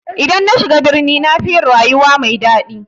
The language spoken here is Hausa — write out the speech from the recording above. I dan nashiga birni nafi yin rayuwa mai daɗi.